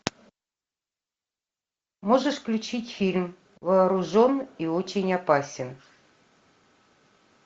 можешь включить фильм вооружен и очень опасен